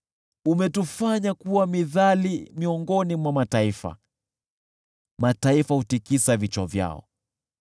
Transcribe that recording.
Umetufanya kuwa mithali miongoni mwa mataifa, mataifa hutikisa vichwa vyao.